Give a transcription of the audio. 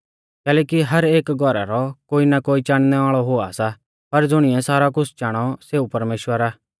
कैलैकि हर एक घौरा रौ कोई ना कोई चाणनै वाल़ौ हुआ सा पर ज़ुणिऐ सारौ कुछ़ चाणौ सेऊ परमेश्‍वर आ